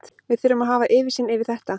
Við þurfum að hafa yfirsýn yfir þetta.